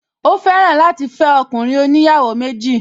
Ó fẹ́ràn láti fẹ́ ọkùnrin oníyàwó méjì